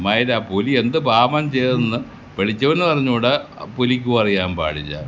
പുലി എന്ത് പാപം ചെയ്തെന്ന് പിടിച്ചവനും അറിഞ്ഞുടാ പുലിക്കും അറിയാൻ പാടില്ല.